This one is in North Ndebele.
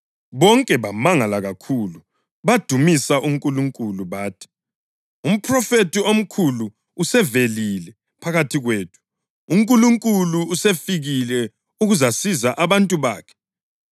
Bonke bamangala kakhulu badumisa uNkulunkulu. Bathi, “Umphrofethi omkhulu usevelile phakathi kwethu. UNkulunkulu usefikile ukuzasiza abantu bakhe.”